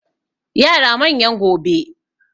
yara manyan gobe